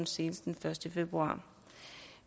senest den første februar